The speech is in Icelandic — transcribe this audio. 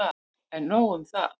En nóg um það.